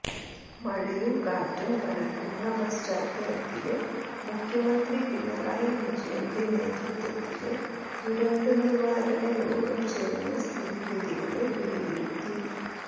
മഴയും കാറ്റും കനക്കുന്ന പശ്ചാത്തലത്തില് മുഖ്യമന്ത്രി പിണറായി വിജയന്റെ നേതൃത്വത്തില് ദുരന്ത നിവാരണ യോഗം ചേര്ന്ന് സ്ഥിതിഗതികള് വിലയിരുത്തി